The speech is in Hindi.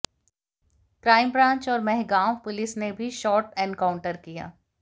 क्राइम ब्रांच और मेहगांव पुलिस ने भी शॉर्ट एनकाउंटर किया